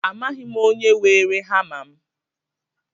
Amaghị m onye weere hama mụ